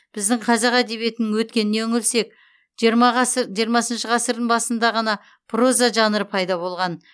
біздің қазақ әдебиетінің өткеніне үңілсек жиырма ғасы жирымасыншы ғасырдың басында ғана проза жанры пайда болған